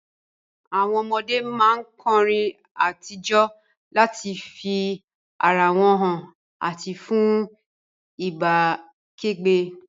Àwon ọmọdé má n korin àti jo láti fi ara wón han àti fun ìbá kẹ́gbẹ́